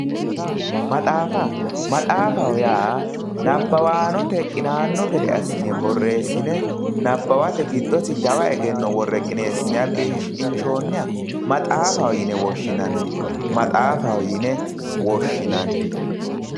Maxaafa, maxaafaho yaa nabbawanote qinano gede assine borreesine nabbawate giddosi jawa egenno worre qinesine shiqqinsoniha maxaafaho yine woshshinanni maxaafaho yine woshshinanni.